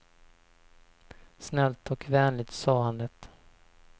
Snällt och vänligt sa han det.